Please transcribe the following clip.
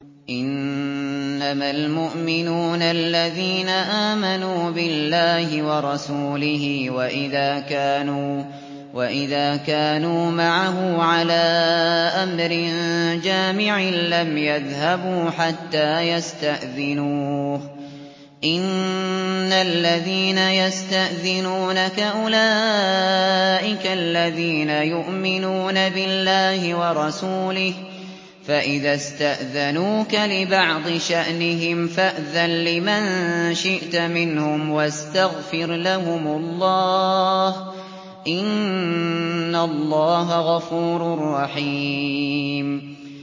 إِنَّمَا الْمُؤْمِنُونَ الَّذِينَ آمَنُوا بِاللَّهِ وَرَسُولِهِ وَإِذَا كَانُوا مَعَهُ عَلَىٰ أَمْرٍ جَامِعٍ لَّمْ يَذْهَبُوا حَتَّىٰ يَسْتَأْذِنُوهُ ۚ إِنَّ الَّذِينَ يَسْتَأْذِنُونَكَ أُولَٰئِكَ الَّذِينَ يُؤْمِنُونَ بِاللَّهِ وَرَسُولِهِ ۚ فَإِذَا اسْتَأْذَنُوكَ لِبَعْضِ شَأْنِهِمْ فَأْذَن لِّمَن شِئْتَ مِنْهُمْ وَاسْتَغْفِرْ لَهُمُ اللَّهَ ۚ إِنَّ اللَّهَ غَفُورٌ رَّحِيمٌ